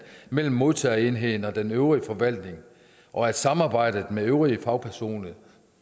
mellem modtagerenheden og den øvrige forvaltning og at samarbejdet med øvrige fagpersoner